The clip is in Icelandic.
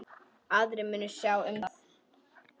Aðrir munu sjá um það.